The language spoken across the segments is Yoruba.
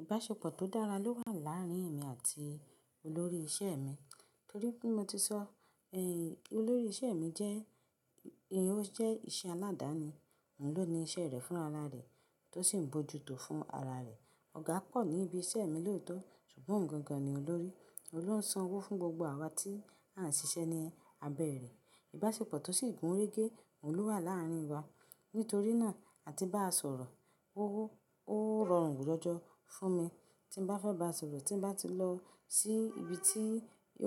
Ìbáṣepọ̀ tó dára ló wà láàárín èmi àti olórí iṣẹ́ mi. Torí pé mo ti sọ ẹ́, olórí iṣẹ́ mi jẹ́, ìyẹn ó jẹ́ iṣẹ́ aládàáni. Òun ló ní iṣẹ́ rẹ̀ fún ara rẹ̀, tó sì ń bójú tó fún ara rẹ̀. Ọ̀gá pọ̀ ní ibi iṣẹ́ mi lóòótọ́, ṣùgbọ́n òhun gangan ni olórí. Ôhun ló ń san owó fún gbogbo àwa tí a ń ṣiṣẹ́ ní abẹ́ rẹ̀. Ìbáṣepọ̀ tó sì gún régé òun ló wà láàárín wa. Nítorí náà, ati bá a sọ̀rọ̀. O, ó rọrùn jọjọ́ fún mi. Tí mo bá fẹ́ bá a sọ̀rọ̀, tí mo bá ti lọ sí ibi tí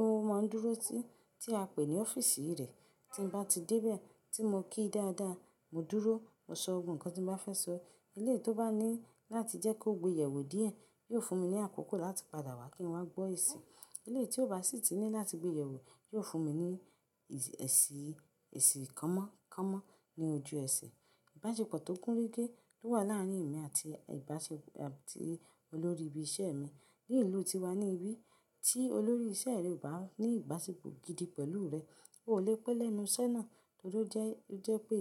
ó máa ń dúró sí, tí a pè ní ọ́fíìsì rẹ̀. Tí mo bá ti dé bí à tí mo kí dáadáa, mo dúró, mo sọ gbogbo nkan tí mo bá fẹ́ sọ. Eléyî tí ó bá ní láti jẹ́ kó gbe yẹ̀wò díẹ̀, yóò fún mi ní àkókò láti padà wá kí n wá gbọ́ èsì. Eléyï tí ó bá sì ti ní láti gbe yẹ̀wò, yóò fún mi ní èsì, èsì kánmọ́ kánmọ́ ní ojú ẹsẹ̀. Ìbáṣepọ̀ tó gún régé tó wà láàárín mi àti ìbáṣe-- àti olórí ibi iṣẹ́ mi. Ní ìlú tiwa ni ibi tí olórí iṣẹ́ rẹ o bá ní ìbáṣepọ̀ gidi pẹ̀lú rẹ, oo lè pẹ́ lẹ́nu iṣẹ́ náà. Torí jẹ́, jẹ́ pé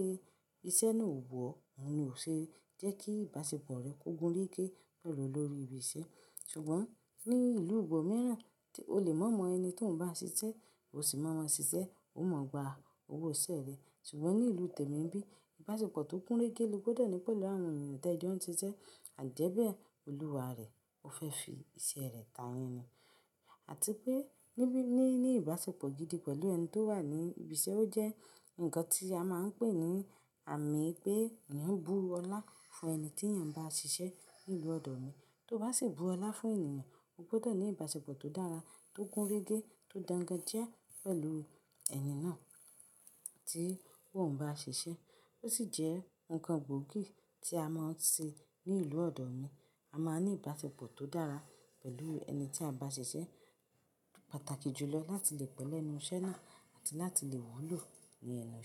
iṣẹ́ náà ò wù ọ́, òun ni ò ṣe jẹ́ kí ìbáṣepọ̀ rẹ̀ kó gún régé pẹ̀lú olórí ibi iṣẹ́. Ṣùgbọ́n ní ìlú ibo mìíràn, o lè mọ̀ mọ ẹni tí ò'n bá ń ṣiṣẹ́, o sì mọ̀ ma ṣiṣẹ́, oo mọa gba owó iṣẹ́ rẹ̀. Ṣùgbọ́n ní ìlú tèmi n'bí, ìbáṣepọ̀ tó gún régé ló gbọdọ̀ ní pẹ̀lú àwọn ènìyàn tí ẹ jọ n'ṣiṣẹ́. ìÀjẹ́bẹ́ ẹ, olúwa rẹ̀, ó fẹ́ fi iṣẹ́ rẹ̀ ta'yín ni. Àti pé níbi, ní, ní ìbáṣepọ̀ gidi pẹ̀lú ẹni tó wà ní ibi iṣẹ́, ó jẹ́ nǹkan tí a máa ń pè ní àmì pé èèyàn ń bú ọlá fún ẹni tí èèyàn n bá ṣiṣẹ́ ní ìlú ọ̀dọ̀ mi. Tó bá sì bú ọlá fún ènìyàn, o gbọdọ̀ ní ìbáṣepọ̀ tó dára, tó gún régé, tó dangajìà pẹ̀lú ẹni náà tí ò n bá ń ṣiṣẹ́. Ó sì jẹ́ nǹkan gbóògì tí a máa ń ṣe ní ìlú ọ̀dọ̀ mi. A máa ní ìbáṣepọ̀ tó dára pẹ̀lú ẹni tí a bá ṣiṣẹ́. Pàtàkì jùlọ láti lè pẹ́ lẹ́nu iṣẹ́ náà àti láti lè wúlò ni ẹnu iṣẹ́.